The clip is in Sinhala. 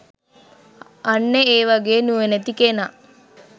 අන්න ඒ වගේ නුවණැති කෙනා